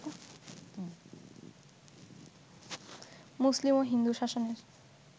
মুসলিম ও হিন্দু শাসনের